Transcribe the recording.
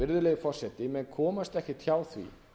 virðulegi forseti menn komast ekkert hjá því